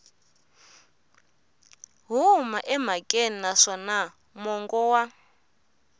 huma emhakeni naswona mongo wa